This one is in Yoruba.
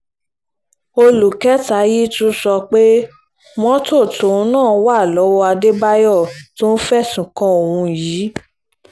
olú kẹta yìí tún sọ pé mọ́tò tóun náà wà lọ́wọ́ àdébáyò tó ń fẹ̀sùn kan òun yìí